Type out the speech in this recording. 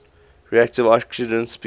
reactive oxygen species